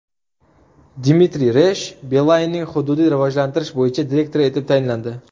Dmitriy Resh Beeline’ning hududiy rivojlantirish bo‘yicha direktori etib tayinlandi.